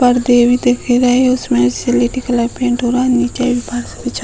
पर्दे भी दिख रहे। उसमें सलेटी कलर पेंट हो रहा है। नीचे भी फर्श बिछा --